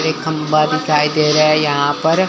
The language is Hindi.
एक खंभा दिखाई दे रहा है यहां पर।